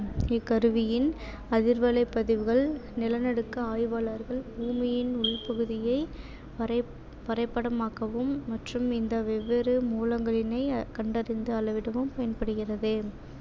இக்கருவியின் அதிர்வலைப் பதிவுகள் நிலநடுக்க ஆய்வாளர்கள் பூமியின் உள்பகுதியை வரை~ வரைபடமாக்கவும் மற்றும் இந்த வெவ்வேறு மூலங்களினை கண்டறிந்து அளவிடவும் பயன்படுகிறது